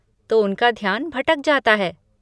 तो उनका ध्यान भटक जाता है।